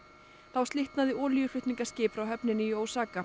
þá slitnaði olíuflutningaskip frá höfninni í